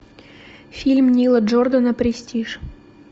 фильм нила джордана престиж